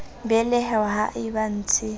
belehwa ha e ba ntshe